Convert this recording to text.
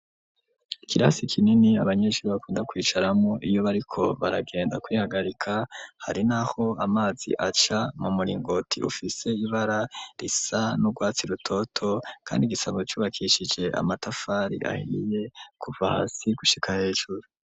Ikirasi kinini, abanyeshuri bakunda kwicaramwo, iyo bariko baragenda kwihagarika; hari n'aho amazi aca mu muringoti, ufise ibara risa n'urwatsi rutoto, kandi gisanzwe cubakishije amatafari ahiye kuva hasi gushika hejuru.